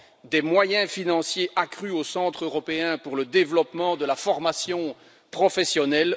des moyens financiers accrus au Centre européen pour le développement de la formation professionnelle.